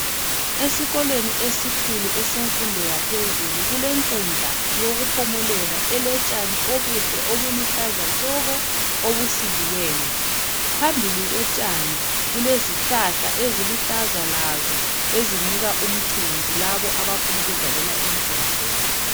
Esikolweni esikhulu esemfundo yaphezulu, kulenkundla yokuphumulela elotshani obuhle obuluhlaza tshoko, obusikiweyo. Phambili kotshani, kulezihlahla eziluhlaza lazo ezinika umthunzi labo abafuna ukudlalela enkundleni